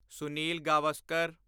Sunil Gavaskar